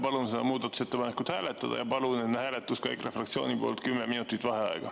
Palun seda muudatusettepanekut hääletada ja palun enne hääletust ka EKRE fraktsiooni poolt 10 minutit vaheaega.